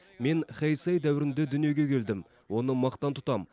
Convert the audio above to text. мен хейсей дәуірінде дүниеге келдім оны мақтан тұтам